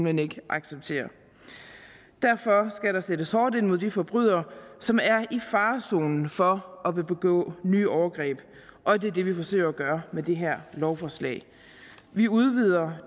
hen ikke acceptere derfor skal der sættes hårdt ind mod de forbrydere som er i farezonen for at ville begå nye overgreb og det er det vi forsøger at gøre med det her lovforslag vi udvider